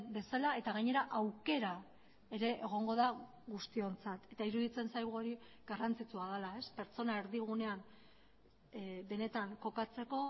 bezala eta gainera aukera ere egongo da guztiontzat eta iruditzen zaigu hori garrantzitsua dela pertsona erdigunea benetan kokatzeko